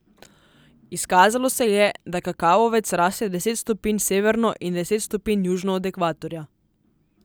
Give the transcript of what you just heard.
Izkazalo se je, da kakavovec raste deset stopinj severno in deset stopinj južno od ekvatorja.